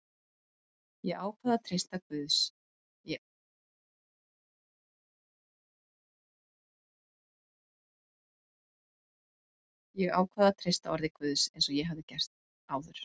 Ég ákvað að treysta orði Guðs eins og ég hafði áður gert.